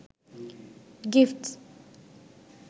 gifts